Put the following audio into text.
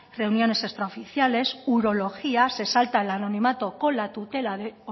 reuniones extraoficiales urología se salta el anonimato con la tutela de